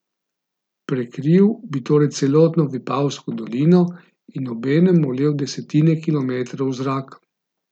Prekril bi torej celotno Vipavsko dolino in obenem molel desetine kilometrov v zrak.